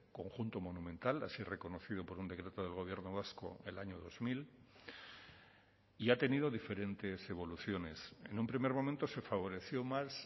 conjunto monumental así reconocido por un decreto del gobierno vasco el año dos mil y ha tenido diferentes evoluciones en un primer momento se favoreció más